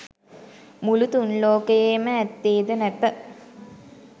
මුළු තුන් ලෝකයේම ඇත්තේද නැත.